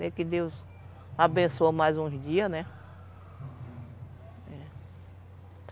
Ver que Deus abençoa mais uns dias, né?